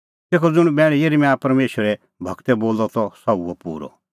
तेखअ ज़ुंण बैण यिर्मयाह परमेशरे गूरै बोलअ त सह हुअ पूरअ